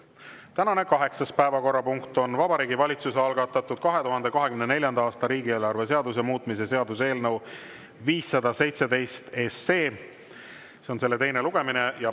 Tänane kaheksas päevakorrapunkt on Vabariigi Valitsuse algatatud 2024. aasta riigieelarve seaduse muutmise seaduse eelnõu 517 teine lugemine.